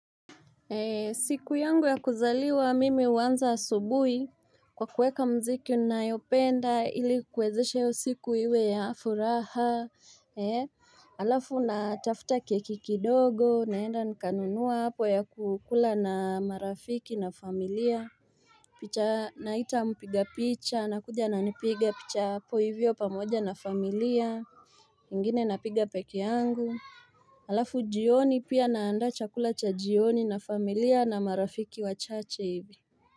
Siku yangu ya kuzaliwa mimi huanza asubui kwa kuweka mziki nayopenda ili kuwezesha hiyo siku iwe ya furaha, alafu natafta keki kidogo, naenda nikanunua hapo ya kukula na marafiki na familia, naita mpiga picha, anakuja ananipiga picha hapo ivyo pamoja na familia, ingine napiga pekee yangu. Alafu jioni pia naandaa chakula cha jioni na familia na marafiki wachache hivi.